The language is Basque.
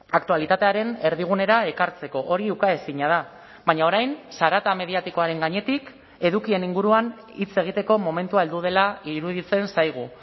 aktualitatearen erdigunera ekartzeko hori ukaezina da baina orain zarata mediatikoaren gainetik edukien inguruan hitz egiteko momentua heldu dela iruditzen zaigu